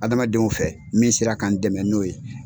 Adamadenw fɛ min sera ka n dɛmɛ n'o ye.